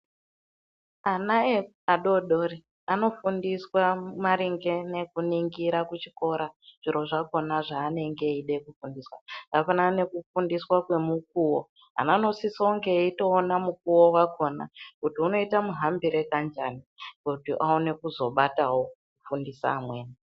Ana adodori anofundiswa maringe nekuningirwa kuchikora zviro zvakhona zvanenge eida kufundiswa zvakafanana nekufundiswa kwemukuwo. Ana anosisonge eitoona mukuwo wakhona kuti unoite muhambire kanjani kuti aone kuzobatawo kufundisa amweni.